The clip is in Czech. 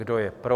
Kdo je pro?